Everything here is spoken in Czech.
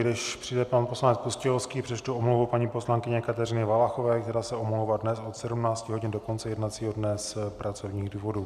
Než přijde pan poslanec Pustějovský, přečtu omluvu paní poslankyně Kateřiny Valachové, která se omlouvá dnes od 17 hodin do konce jednacího dne z pracovních důvodů.